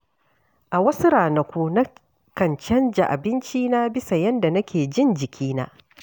A wasu ranaku, na kan canza abincina bisa yadda nake jin jikina.